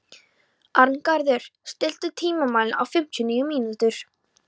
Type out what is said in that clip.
Arngarður, stilltu tímamælinn á fimmtíu og níu mínútur.